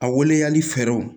A waleyali fɛɛrɛw